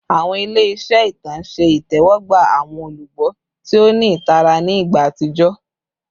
Awọn ile iṣere itan ṣe itẹwọgba awọn olugbo ti o ni itara ni igba atijọ